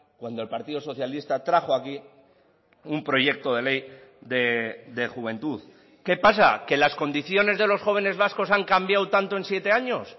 cuando el partido socialista trajo aquí un proyecto de ley de juventud qué pasa que las condiciones de los jóvenes vascos han cambiado tanto en siete años